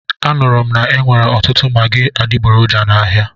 Anụrụ m na-enwere ọtụtụ magị adigboroja n'ahia.